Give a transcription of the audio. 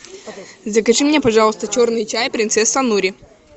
закажи мне пожалуйста черный чай принцесса нури